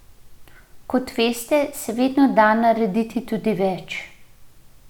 Kot veste, se vedno da narediti tudi več.